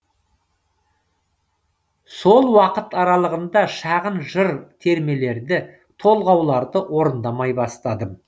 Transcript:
сол уақыт аралығында шағын жыр термелерді толғауларды орындамай бастадым